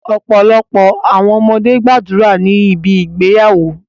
Ọpọlọpọ awọn ọmọde gbadura ni ibi igbeyawo